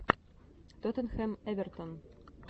тоттенхэм эвертон